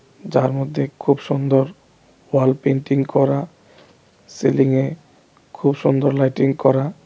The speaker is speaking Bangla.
যার মধ্যে খুব সুন্দর ওয়াল পেইন্টিং করা সিলিংয়ে খুব সুন্দর লাইটিং করা.